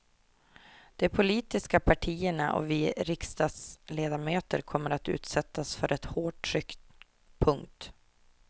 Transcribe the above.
De politiska partierna och vi riksdagsledamöter kommer att utsättas för ett hårt tryck. punkt